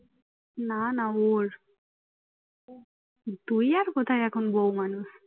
না না ওর তুই আর কোথায় এখন বৌ মানুষ